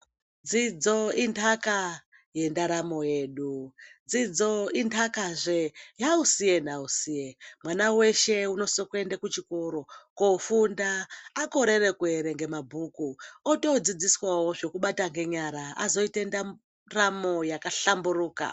Dzidzo indaka yendaramo hedu, dzidzo indaka zvee yausiye nausiye. Mwana weshe unosise kuenda kuchikoro koofunda, akorere kuerenga mabhuku otodzidziswawo zvekubata ngenyara ozoita ndaramo yakahlamburuka.